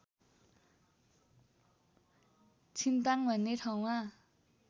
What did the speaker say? छिन्ताङ भन्ने ठाउँमा